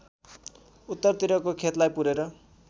उत्तरतिरको खेतलाई पुरेर